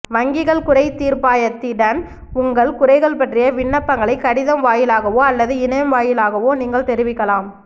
வங்கிகள் குறை தீர்ப்பாயத்திடன் உங்கள் குறைகள் பற்றிய விண்ணப்பங்களை கடிதம் வாயிலாகவோ அல்லது இணையம் வாயிலாகவோ நீங்கள் தெரிவிக்கலாம்